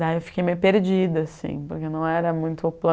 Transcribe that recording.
Daí eu fiquei meio perdida, assim, porque não era muito o